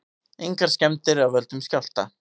Engar skemmdir af völdum skjálfta